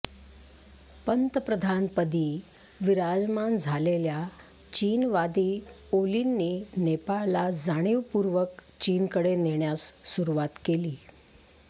पंतप्रधानपदी विराजमान झालेल्या चीनवादी ओलींनी नेपाळला जाणीवपूर्वक चीनकडे नेण्यास सुरूवात केली